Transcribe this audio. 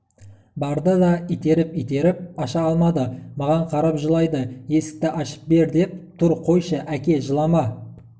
барды да итеріп-итеріп аша алмады маған қарап жылайды есікті ашып бер деп тұр қойшы әке жылама